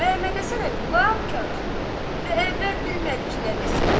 Məhəmmədhəsən əmi lap karıxdı və əvvəl bilmədi ki, nə desin.